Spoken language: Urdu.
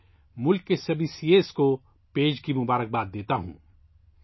میں ملک کے تمام چارٹرڈ اکاؤنٹٹس کو پیشگی مبارکباد دیتا ہوں